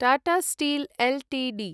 Tata steel Ltd